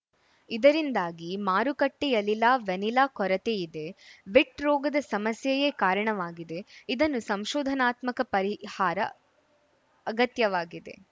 ಇದರಿಂದಾಗಿ ಮಾರುಕಟ್ಟೆಯಲಿಲ ವೆನಿಲಾ ಕೊರತೆಯಿದೆ ವಿಟ್‌ ರೋಗದ ಸಮಸ್ಯೆಯೇ ಕಾರಣವಾಗಿದೆ ಇದನ್ನು ಸಂಶೋಧನಾತ್ಮಕ ಪರಿಹಾರ ಅಗತ್ಯವಾಗಿದೆ